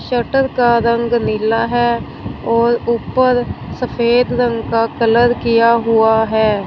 Shutter का रंग नीला है और ऊपर सफेद रंग का कलर किया हुआ है।